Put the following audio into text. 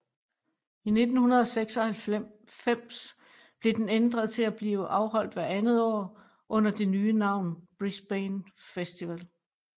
I 1996 blev den ændret til at blive afholdt hvert andet år under det nye navn Brisbane Festival